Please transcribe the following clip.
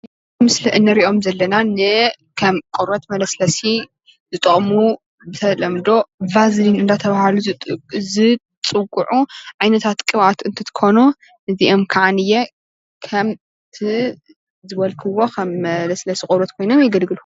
ኣብዚ ምስሊ እንሪኦም ዘለና ንከም ቆርበት መለስለሲ ዝጠቕሙ ብተለምዶ ቫዝሊን እንዳተባሃሉ ዝፅውዑ ዓይነታት ቅብአት እንትኾኑ፣ እዚኦም ከዓ ንየ ከምቲ ዝበልክዎ ከም መለስለሲ ቆርበት ኮይኖም የገልግሉ።